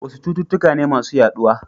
Wasu cututtuka ne masu yaduwa.